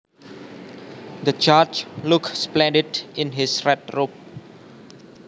The judge looked splendid in his red robe